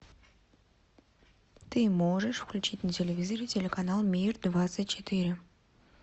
ты можешь включить на телевизоре телеканал мир двадцать четыре